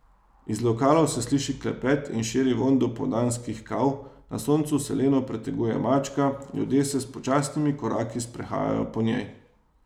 Iz lokalov se sliši klepet in širi vonj dopoldanskih kav, na soncu se leno preteguje mačka, ljudje se s počasnimi koraki sprehajajo po njej.